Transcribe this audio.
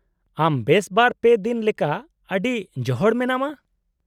-ᱟᱢ ᱵᱮᱥ ᱵᱟᱨ ᱯᱮ ᱫᱤᱱ ᱞᱮᱠᱟ ᱟᱰᱤ ᱡᱚᱦᱚᱲ ᱢᱮᱱᱟᱢᱟ ᱾